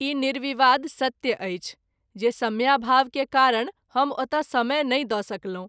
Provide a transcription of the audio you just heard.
ई निर्विवाद सत्य अछि जे समयाभाव के कारण हम ओतय समय नहिं द’ सकलहुँ।